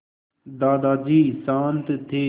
दादाजी शान्त थे